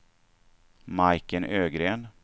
Majken Ögren